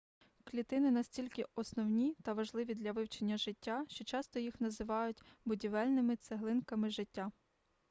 клітини настільки основні та важливі для вивчення життя що часто їх називають будівельними цеглинками життя